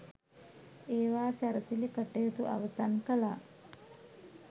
ඒවා සැරසිලි කටයුතු අවසන් කළා.